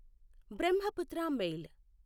Brahmaputra mail